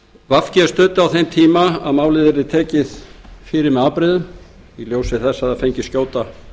vinstri hreyfingin grænt framboð studdi þá að málið yrði tekið fyrir með afbrigðum og fengi skjóta